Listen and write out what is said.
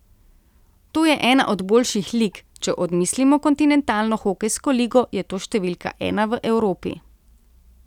To je ena od boljših lig, če odmislimo Kontinentalno hokejsko ligo, je to številka ena v Evropi.